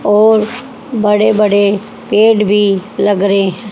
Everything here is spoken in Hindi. और बड़े बड़े पेड़ भी लग रहे हैं।